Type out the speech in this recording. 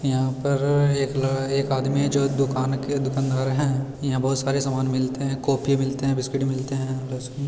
यहाँ पर एक ल एक आदमी है जो दुकान के दुकनदार हैं | यहां बहोत सारे सामान मिलते हैं | कॉफी मिलते हैं बिस्किट मिलते हैं --